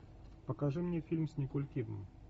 покажи мне фильм с николь кидман